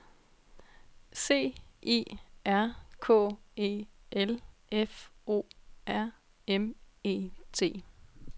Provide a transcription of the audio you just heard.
C I R K E L F O R M E T